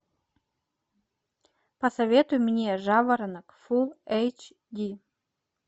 посоветуй мне жаворонок фул эйч ди